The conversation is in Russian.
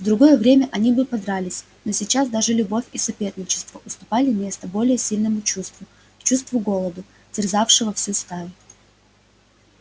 в другое время они бы подрались но сейчас даже любовь и соперничество уступали место более сильному чувству чувству голода терзающего всю стаю